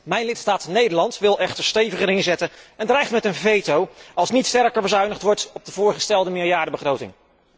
Mijn lidstaat Nederland wil echter steviger inzetten en dreigt met een veto als niet sterker bezuinigd wordt op de voorgestelde meerjarenbegroting.